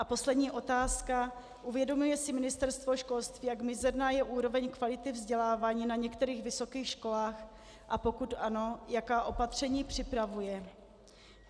A poslední otázka: Uvědomuje si Ministerstvo školství, jak mizerná je úroveň kvality vzdělávání na některých vysokých školách, a pokud ano, jaká opatření připravuje?